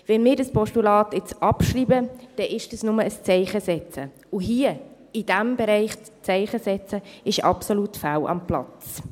Wenn wir das Postulat jetzt abschreiben, dann ist es nur ein Zeichensetzen, und hier in diesem Bereich nur ein Zeichen zu setzen, ist absolut fehl am Platz.